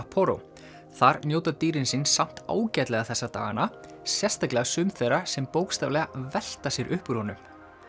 Sapporo þar njóta dýrin sín samt ágætlega þessa dagana sérstaklega sum þeirra sem bókstaflega velta sér upp úr honum